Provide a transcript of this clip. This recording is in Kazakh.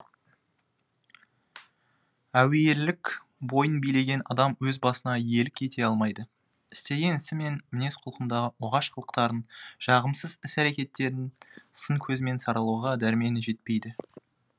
әуейілік бойын билеген адам өз басына иелік ете алмайды істеген ісі мен мінез құлқындағы оғаш қылықтарын жағымсыз іс әрекеттерін сын көзімен саралауға дәрмені жетпейді